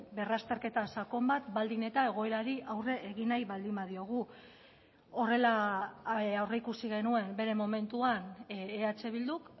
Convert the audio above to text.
berrazterketa sakon bat baldin eta egoerari aurre egin nahi baldin badiogu horrela aurreikusi genuen bere momentuan eh bilduk